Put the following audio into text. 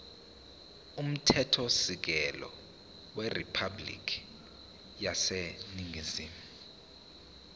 umthethosisekelo weriphabhulikhi yaseningizimu